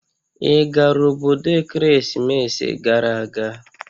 Ị gara obodo ekeresimesi gara aga?